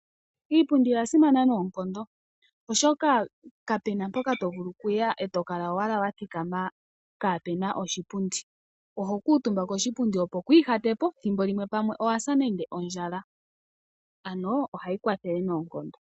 Iipundi oya simana noonkondo oshoka kapena mpoka to vulu okuya e to kala owala wa thikama kaapena oshipundi. Oho kuutumba koshipundi opo ku ihatepo, thimbolimwe pamwe owa sa nande ondjala, ano ohayi kwathele noonkondo.